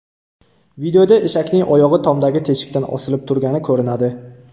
Videoda eshakning oyog‘i tomdagi teshikdan osilib turgani ko‘rinadi.